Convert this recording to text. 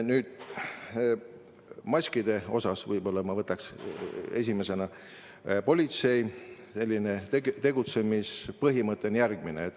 Mis maskidesse puutub, siis politsei tegutsemispõhimõte on järgmine.